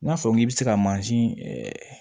N'a fɔ k'i bɛ se ka mansin ɛɛ